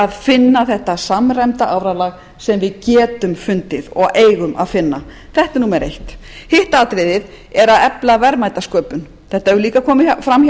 að finna þetta samræmda áralag sem við getum fundið og eigum að finna þetta er númer eitt hitt atriðið er að efla verðmætasköpun þetta hefur líka komið fram hjá